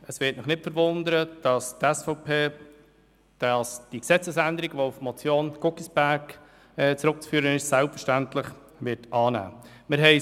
Es wird nicht verwundern, dass die SVP die Gesetzesänderung, die auf die Motion Guggisberg () zurückzuführen ist, selbstverständlich annehmen wird.